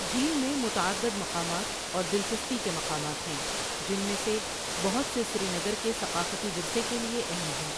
جھیل میں متعدد مقامات اور دلچسپی کے مقامات ہیں، جن میں سے بہت سے سری نگر کے ثقافتی ورثے کے لیے اہم ہیں۔